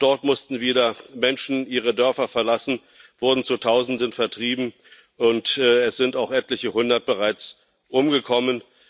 Auch dort mussten wieder Menschen ihre Dörfer verlassen, wurden zu Tausenden vertrieben, und es sind auch bereits etliche Hundert umgekommen.